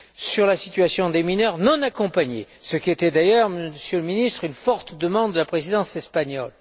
sur la situation des mineurs non accompagnés, ce qui était d'ailleurs, Monsieur le Ministre, une forte demande de la Présidence espagnole.